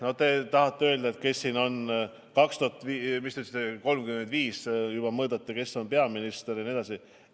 No te tahate öelda, kes aastal 2035 on peaminister ja nii edasi.